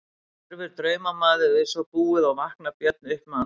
Hverfur draumamaður við svo búið og vaknar Björn upp með andfælum.